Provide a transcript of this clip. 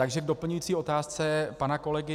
Takže k doplňující otázce pana kolegy.